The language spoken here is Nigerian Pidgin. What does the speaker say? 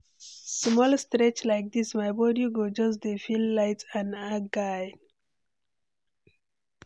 Small stretch like dis, my body go just dey feel light and agile.